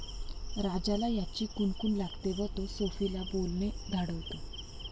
राजाला याची कुणकुण लागते व तो सोफीला बोलणे धाडवतो.